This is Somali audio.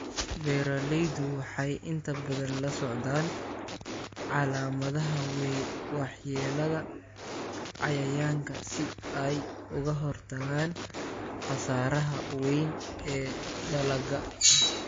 Beeraleydu waxay inta badan la socdaan calaamadaha waxyeelada cayayaanka si ay uga hortagaan khasaaraha weyn ee dalagga.